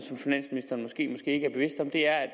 er